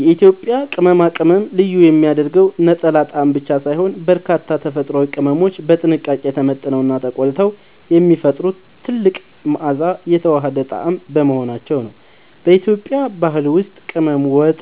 የኢትዮጵያን ቅመማ ቅመም ልዩ የሚያደርገው ነጠላ ጣዕም ብቻ ሳይሆን፣ በርካታ ተፈጥሯዊ ቅመሞች በጥንቃቄ ተመጥነውና ተቆልተው የሚፈጥሩት ጥልቅ መዓዛና የተዋሃደ ጣዕም በመሆናቸው ነው። በኢትዮጵያ ባህል ውስጥ ቅመም ወጥ